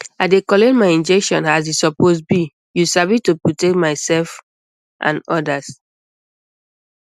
i dey collect my injection as e suppose be you sabi to protect myself and others